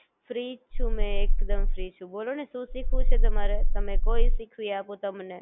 Free જ છું મે એકદમ ફ્રી છું બોલો ને શું શીખવું છે તમારે? તમને કો ઈ સીખવી આપું